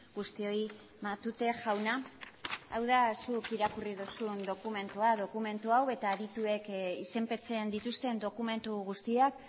guztioi matute jauna hau da zuk irakurri duzun dokumentua dokumentu hau eta adituek izenpetzen dituzten dokumentu guztiak